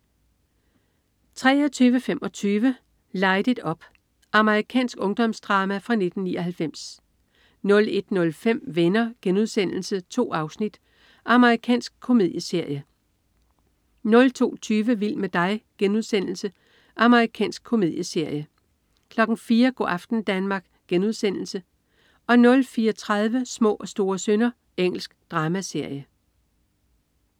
23.25 Light It Up. Amerikansk ungdomsdrama fra 1999 01.05 Venner.* 2 afsnit. Amerikansk komedieserie 02.20 Vild med dig.* Amerikansk komedieserie 04.00 Go' aften Danmark* 04.30 Små og store synder. Engelsk dramaserie